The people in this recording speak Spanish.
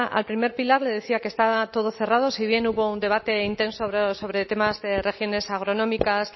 al primer pilar le decía que estaba todo cerrado si bien hubo un debate intenso sobre temas de regiones agronómicas